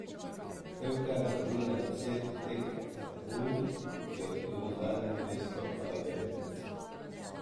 Krka je dobila deset tekem, Tajfun, ki je osvojil zadnje mesto, pa devet.